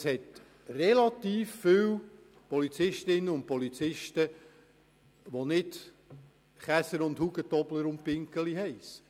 Es hat relativ viele Polizistinnen und Polizisten, welche nicht Käser, Hugentobler und Binggeli heissen.